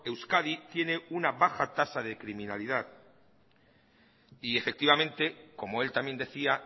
euskadi tiene una baja tasa de criminalidad efectivamente como él también decía